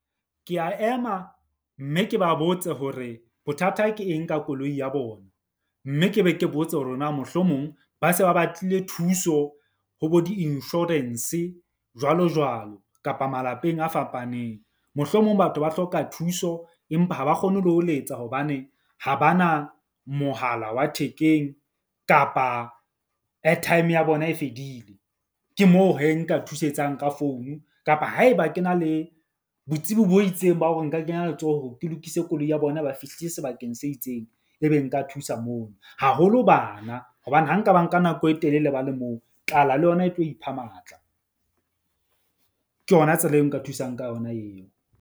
Ke a ema mme ke ba botse hore bothata ke eng ka koloi ya bona. Mme ke be ke botse hore na mohlomong ba se ba batlile thuso ho bo di-insurance jwalo jwalo kapa malapeng a fapaneng. Mohlomong batho ba hloka thuso empa ha ba kgone le ho letsa hobane ha ba na mohala wa thekeng kapa airtime ya bona e fedile. Ke moo hee nka thusetsang ka founu kapa haeba ke na le botsebi bo itseng ba hore nka kenya letsoho. Ke lokise koloi ya bona, ba fihlile sebakeng se itseng, ebe nka thusa moo haholo bana. Hobane ha nka ba nka nako e telele ba le moo tlala le yona e tlo ipha matla. Ke yona tsela eo nka thusang ka yona eo.